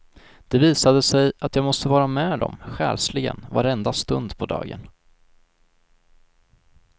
Det visade sig att jag måste vara med dem själsligen varenda stund på dagen.